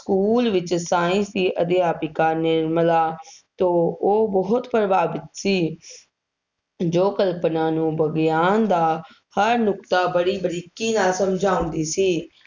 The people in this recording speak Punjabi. ਸਕੂਲ ਵਿੱਚ science ਦੀ ਅਧਿਆਪਕਾ ਨਿਮਰਲਾ ਤੋਂ ਉਹ ਬਹੁਤ ਪ੍ਰਭਾਵਿਤ ਸੀ ਜੋ ਕਲਪਨਾ ਨੂੰ ਵਿਗਿਆਨ ਦਾ ਹਰ ਨੁਕਤਾ ਬੜੀ ਬਰੀਕੀ ਨਾਲ ਸਮਝਾਉਂਦੀ ਸੀ।